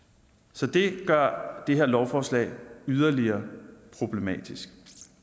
så det gør det her lovforslag yderligere problematisk